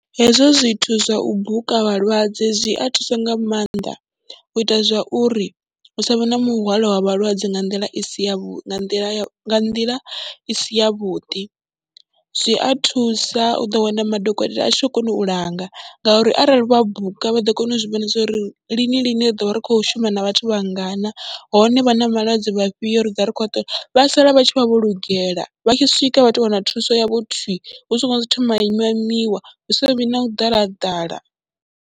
Hezwo zwithu zwa u buka vhalwadze zwi a thusa nga maanḓa u ita zwa uri hu sa vhe na muhwalo wa vhalwadze nga nḓila i si yavhuḓi, nga nḓila i si yavhuḓi, zwi a thusa u ḓo wana madokotela a tshi khou kona u langa ngauri arali vha buka vha ḓo kona u zwi vhona zwo ri lini lini ri ḓo vha ri khou shuma na vhathu vha ngana hone vha na vhalwadze vhafhio ri ḓo vha ri khou vha ṱola. Vha sala vha tshi vha vho lugela, vha tshi swika vha tou vha na thuso yavho thwii, hu songo thoma ha ima imiwa, hu sa vhi na u ḓala ha ḓala.